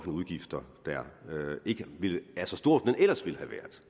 udgifter der ikke er så stor som den ellers ville have været